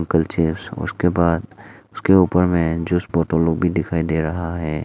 उसके बाद उसके ऊपर में जस्ट बोतल लोग भी दिखाई दे रहा है।